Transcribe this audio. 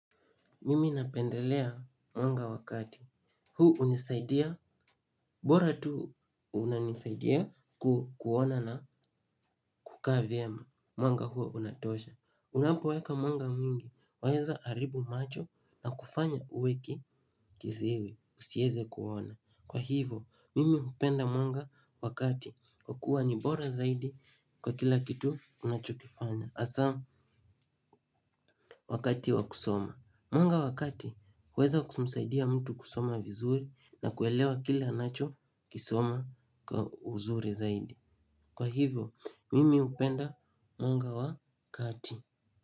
Mimi napendelea mwanga wa kati. Huu unisaidia. Bora tu unanisaidia kuona na kukaa viema. Mwanga huo unatosha. Unapoweka mwanga mwingi waeza haribu macho. Na kufanya uwe kiziwi usieze kuona. Kwa hivo mimi hupenda mwanga wa kati kwa kuwa ni bora zaidi kwa kila kitu unachokifanya asaa wakati wa kusoma. Mwanga wa kati waeza kumsaidia mtu kusoma vizuri na kuelewa kila anacho kisoma kwa uzuri zaidi. Kwa hivyo, mimi upenda mwanga wa kati.